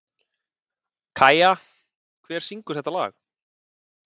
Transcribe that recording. Kæja, hver syngur þetta lag?